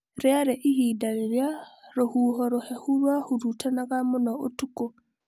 Rĩarĩ ihinda rĩrĩa rũhuho rũhehu rũahurutanaga mũno ũtuko.